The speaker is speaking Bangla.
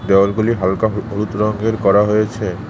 দেওয়ালগুলি হালকা হো হলুদ রংয়ের করা হয়েছে।